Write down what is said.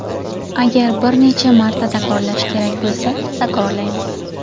Agar bir necha marta takrorlash kerak bo‘lsa, takrorlaymiz.